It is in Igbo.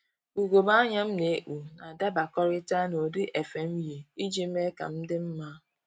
Ugegbe anya m na-ekpu na-adabakọrịta n'ụdị efe m yi iji mee ka m dị mma